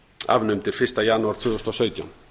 afnumdir fyrsta janúar tvö þúsund og sautján